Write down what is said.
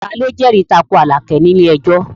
Ta ló jẹ́rìí tako Àlàkẹ́ ní ilé ẹjọ́?